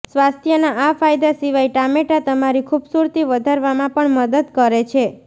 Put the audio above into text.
સ્વાસ્થ્યના આ ફાયદા સિવાય ટામેટા તમારી ખુબસુરતી વધારવામાં પણ મદદ કરે છે